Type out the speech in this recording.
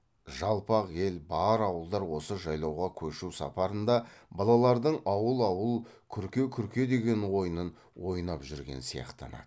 жалпақ ел бар ауылдар осы жайлауға көшу сапарында балалардың ауыл ауыл күрке күрке деген ойынын ойнап жүрген сияқтанады